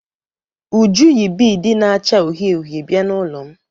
Uju yi biidi na-acha uhie uhie bịa n'ụlọ m.